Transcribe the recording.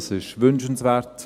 dies wäre wünschenswert.